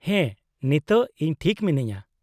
-ᱦᱮᱸ, ᱱᱤᱛᱳᱜ ᱤᱧ ᱴᱷᱤᱠ ᱢᱤᱱᱟᱹᱧᱼᱟ ᱾